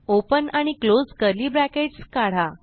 open आणि close curly brackets काढा